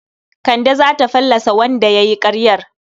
Kande za ta fallasa wanda ya yi ƙaryar.